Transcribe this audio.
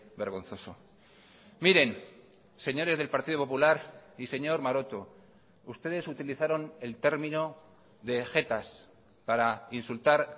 vergonzoso miren señores del partido popular y señor maroto ustedes utilizaron el término de jetas para insultar